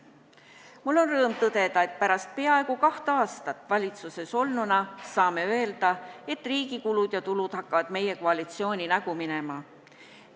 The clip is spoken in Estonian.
Mul on rõõm tõdeda, et pärast peaaegu kaht aastat valitsuses olnuna saame öelda, et riigi kulud ja tulud hakkavad meie koalitsiooni nägu minema.